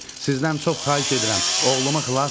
Sizdən çox xahiş edirəm, oğlumu xilas edin.